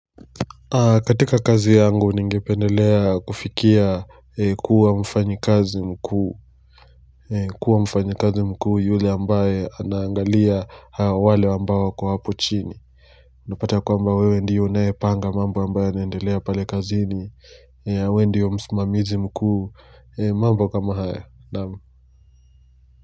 Katika kazi yangu ningependelea kufikia kuwa mfanyikazi mkuu. Kuwa mfanyikazi mkuu yule ambaye anaangalia wale ambao wako hapo chini. Unapata kwamba wewe ndiye unaye panga mambo ambayo inaendelea pale kazini. Wewe ndiye msmamizi mkuu. Mambo kama haya.